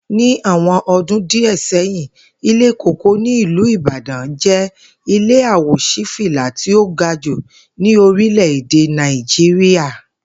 Ní awo̩n o̩dún díè̩ sé̩yìn, Ilé Kòkó ní ìlú Ìbàdán jé̩ ilé à-wò-sí-fìlà tí ó ga jù ní orílè̩-èdè Nàìjíríà